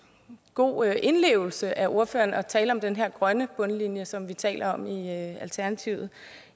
god indlevelse af ordføreren at tale om den her grønne bundlinje som vi taler om i alternativet